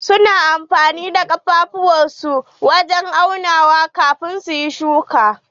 Su na amfani da kafafuwar su wajen auna kafin su yi shuki.